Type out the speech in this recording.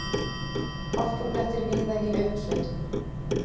Hálkublettir víða í uppsveitum